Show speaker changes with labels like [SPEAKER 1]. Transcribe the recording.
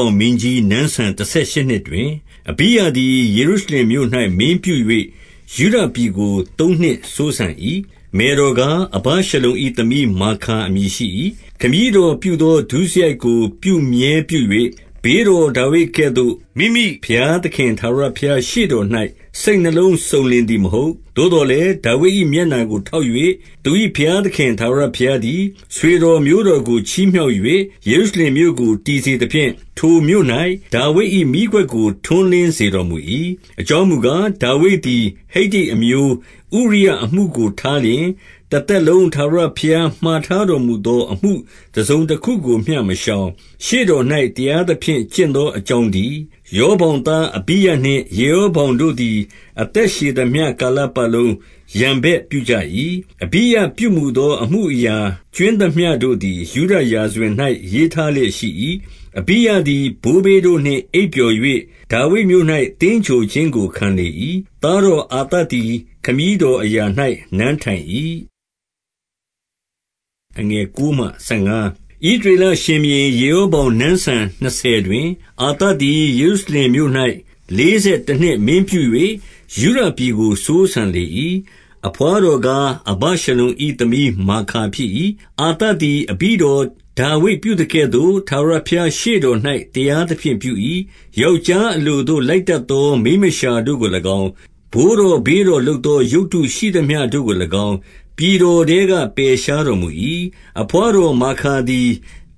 [SPEAKER 1] ာင်မင်းကြီး နန်းစံ တဆယ်ရှစ်နှစ်တွင်၊ အဘိယသည် ယေရုရှလင်မြို့၌ မင်းပြု၍၊ ယုဒပြည်ကို သုံးနှစ်စိုးစံ၏။ မယ်တော်ကား၊ အဘရှလုံ၏ သမီးမာခါ အမည်ရှိ၏။ 3 ခမည်းတော်ပြုသော ဒုစရိုက်ကို ပြုမြဲပြု၍၊ ဘေးတော်ဒါဝိဒ်ကဲ့သို့ မိမိဘုရားသခင် ထာဝရဘုရား ရှေ့တော်၌ စိတ်နှလုံးစုံလင်သည်မဟုတ်။ 4 သို့သော်လည်း ဒါဝိဒ်၏မျက်နှာကိုထောက်၍၊ သူ၏ဘုရားသခင် ထာဝရဘုရားသည် ဆွေတော်မျိုးတော် ကို ချီးမြှောက်၍၊ ယေရုရှလင်မြို့ကို တည်စေသဖြင့်၊ ထိုမြို့ ၌ ဒါဝိဒ်၏မီးခွက်ကို ထွန်းလင်းစေတော်မူ၏။ 5 အကြောင်းမူကား၊ ဒါဝိဒ်သည် ဟိတ္တိအမျိုး ဥရိယအမှုကိုထားလျှင်၊ တသက်လုံးထာဝရဘုရားမှာ ထားတော်မူသော အမှုတစုံတခုကိုမျှ မရှောင်၊ ရှေ့တော်၌ တရားသဖြင့် ကျင့်သောအကြောင်းတည်း။ 6 ရောဗောင်သား အဘိယနှင့် ယေရောဗောင်တို့သည် အသက်ရှည်သမျှ ကာလပတ်လုံး ရန်ဘက်ပြုကြ၏။ 7 အဘိယပြုမူသောအမှုအရာ ကြွင်းသမျှတို့သည် ယုဒရာဇဝင် ၌ ရေးထားလျက်ရှိ၏။ 8 အဘိယသည်ဘိုးဘေးတို့နှင့် အိပ်ပျော်၍ ဒါဝိဒ် မြို့၌ သင်္ဂြိုဟ်ခြင်းကို ခံလေ၏။ သားတော်အာသသည် ခမည်းတော်အရာ၌ နန်းထိုင်၏။ 9 ဣသရေလရှင်ဘုရင် ယေရောဗောင် နန်းစံ နှစ်ဆယ်တွင်၊ အာသသည် ယေရုရှလင်မြို့၌ လေးဆယ် တနှစ်မင်းပြု၍ ယုဒပြည်ကို စိုးစံလေ၏။ 10 အဘွားတော်ကား၊ အဘရှလုံ၏သမီး မာခါ ဖြစ်၏။ 11 အာသသည် အဘိတော်ဒါဝိဒ်ပြုသကဲ့သို့ ထာဝရဘုရားရှေ့တော်၌ တရားသဖြင့်ပြု၏။ 12 ယောက်ျားအလိုသို့ လိုက်တတ်သောမိန်းမလျှာ တို့ကို၎င်း၊ ဘိုးတော်ဘေးတော်လုပ်သော ရုပ်တုရှိသမျှ တို့ကို၎င်း၊ ပြည်တော်ထဲက ပယ်ရှားတော်မူ၏။ 13 အဘွားတော်မာခါသည်